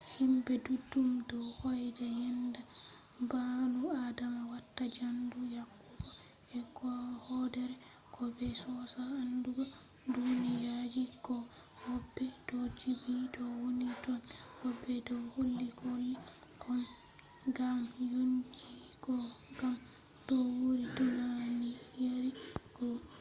himɓe duɗɗum do hoyda yenda gbaanu adama watta jandu yahugo e hoodere goo be sosa andugo duniyaji goo woɓɓe do jibbi to woni tonn woɓɓe do holli kulle gam yonkinji goo gam no wuuri e duniyari goo